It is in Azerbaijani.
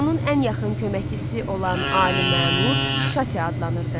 Fironun ən yaxın köməkçisi olan ali məmur Çati adlanırdı.